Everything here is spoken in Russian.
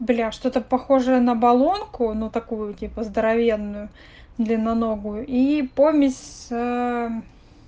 бля что-то похожая на болонку но такую типа здоровенную длинноногую и помесь ээ